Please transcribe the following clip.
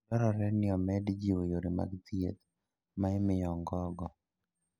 Dwarore ni omed jiwo yore mag thieth ma imiyo ong'orgo.